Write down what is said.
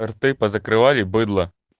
рты позакрывали быдла